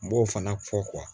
N b'o fana fɔ